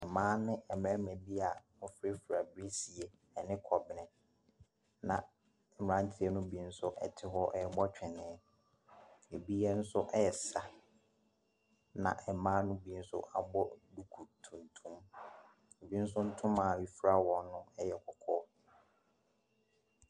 Mmaa ne mmarima bi a wɔfurafura birisie ne kɔbene na mmranteɛ bi nso te hɔ rebɔ twenee. Ebi nso resa. Na mmaa no nso abɔ duku tuntum. Ebi nso ntoma a efura wɔn yɛ kɔkɔɔ.